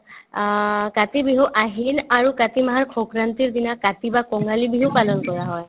আ কাতি বিহু আহিন আৰু কাতি মাহৰ সংক্ৰান্তিৰ দিনা কাতি বা কঙালী বিহু পালন কৰা হয়